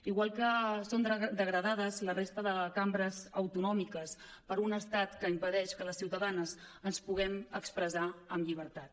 igual que són degradades la resta de cambres autonòmiques per un estat que impedeix que les ciutadanes ens puguem expressar en llibertat